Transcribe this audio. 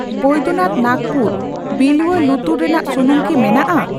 ᱵᱚᱭᱫᱚᱱᱟᱛᱷ ᱱᱟᱜᱯᱩᱨ ᱵᱤᱞᱣᱭᱟ ᱞᱩᱛᱩᱨ ᱨᱮᱱᱟᱜ ᱥᱩᱱᱩᱢ ᱠᱤ ᱢᱮᱱᱟᱜᱼᱟ?